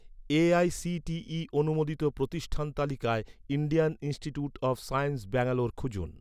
AICTE অনুমোদিত প্রতিষ্ঠান তালিকায়, Indian institute of science Bangalore খুঁজুন